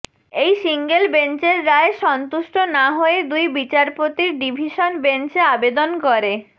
এই সিঙ্গল বেঞ্চের রায়ে সন্তুষ্ট না হয়ে দুই বিচারপতির ডিভিশন বেঞ্চে আবেদন করে